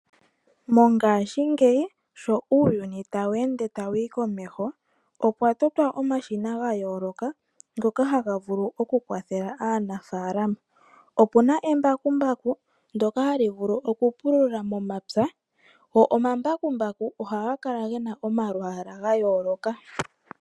Mongashingeyi sho uuyuni tawu ende tawu yi komeho, opwa totwa omashina ga yooloka ngoka haga vulu okukwathela aanafaalama. Opu na embakumbaku ndoka hali vulu okupulula momapya. Go omambakumbaku ohaga kala ge na omalwaalwa ga yooloka.